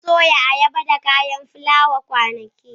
Mun soya ayaba da kayan fulawa kwanaki.